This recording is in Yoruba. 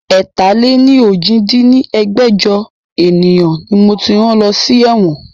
ẹ̀ta-lé-ní-ojì dín ní ẹgbẹ́jọ ènìyàn ni moti rán lọ sí ẹ̀wọ̀n